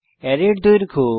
অ্যারের দৈর্ঘ্য